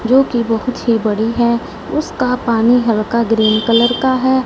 जोकि बहोत ही बड़ी है उसका पानी हल्का ग्रीन कलर का है।